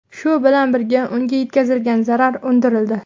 Shu bilan birga, unga yetkazilgan zarar undirildi.